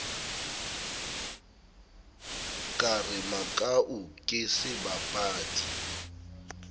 ka re makau ke sebapadi